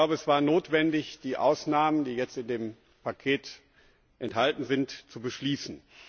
Es war notwendig, die Ausnahmen, die jetzt in dem Paket enthalten sind, zu beschließen.